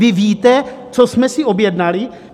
Vy víte, co jsme si objednali?